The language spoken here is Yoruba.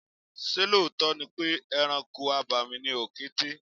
Ṣé lóòótọ́ ni pé ẹranko abàmì ni òkété?